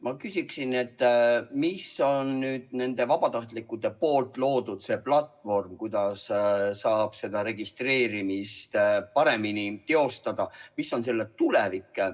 Ma küsiksin selle kohta, mis on selle vabatahtlike loodud platvormi, millega saaks seda registreerimist paremini teostada, tulevik.